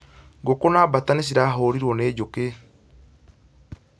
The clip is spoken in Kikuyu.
Ngũkũ na mbaata nĩ cirahũrirwo ni njũkĩ